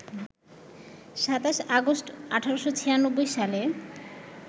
২৭ August, ১৮৯৬ সালে